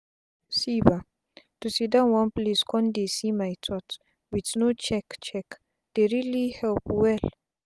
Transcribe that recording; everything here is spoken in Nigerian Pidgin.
see bah to siddon one place con dey see my thoughts with no check check dey really help well.